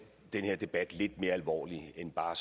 den her debat lidt mere alvorlig end bare